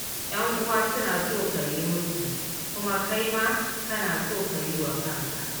Yan'uwa suna so ka yi musu, kuma kai ma kana so ka yi wa kanka.